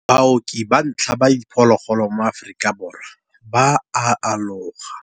Baoki ba ntlha ba diphologolo mo Aforika Borwa ba a aloga.